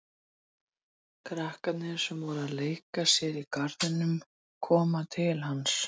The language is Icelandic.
Krakkarnir sem voru að leika sér í garðinum koma til hans.